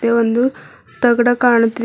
ಮತ್ತೆ ಒಂದು ತಗಡ ಕಾಣುತ್ತಿಲ್--